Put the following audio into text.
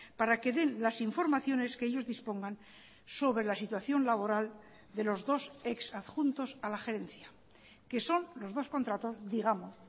para que den las informaciones que ellos dispongan sobre la situación laboral de los dos exadjuntos a la gerencia que son los dos contratos digamos